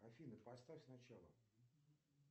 афина поставь сначала